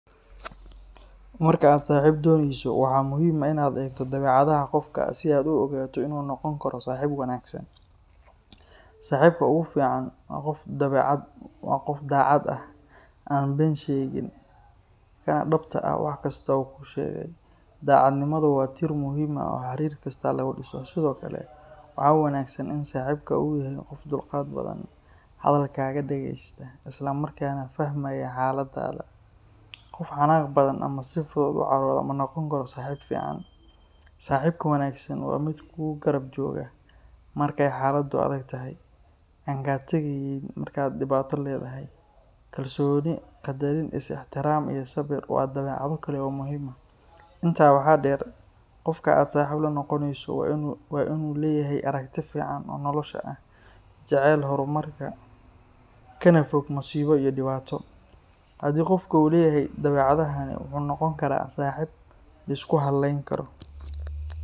Marka aad saaxiib doonayso, waxaa muhiim ah in aad eegto dabeecadaha qofka si aad u ogaato in uu noqon karo saaxiib wanaagsan. Saaxiibka ugu fiican waa qof daacad ah, aan been sheegin, kana dhabta ah wax kasta oo uu kuu sheegay. Daacadnimadu waa tiir muhiim ah oo xiriir kasta lagu dhiso. Sidoo kale, waxaa wanaagsan in saaxiibka uu yahay qof dulqaad badan, hadalkaaga dhageysta, isla markaana fahmaya xaaladaada. Qof xanaaq badan ama si fudud u carooda ma noqon karo saaxiib fiican. Saaxiibka wanaagsan waa mid kugu garab jooga markay xaaladdu adag tahay, aan kaa tageyn marka aad dhibaato leedahay. Kalsooni, qadarin, is ixtiraam iyo samir waa dabeecado kale oo muhiim ah. Intaa waxaa dheer, qofka aad saaxiib la noqonayso waa in uu leeyahay aragti fiican oo nolosha ah, jecel horumarka, kana fog masiibo iyo dhibaato. Haddii qofka uu leeyahay dabeecadahan, wuxuu noqon karaa saaxiib la isku hallayn karo.